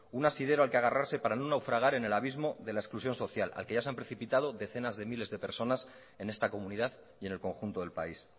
un asidero al que agarrarse para no naufragar en el abismo de la exclusión social al que ya se han precipitado decenas de miles de personas en esta comunidad y en el conjunto del país